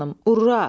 Ura!